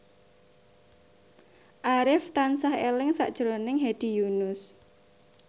Arif tansah eling sakjroning Hedi Yunus